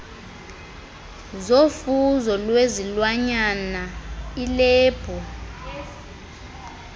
zofuzo lwezilwanyana ilebhu